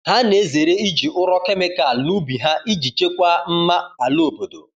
Ha na-ezere iji ụrọ kemịkal n’ubi ha iji chekwaa mma ala obodo.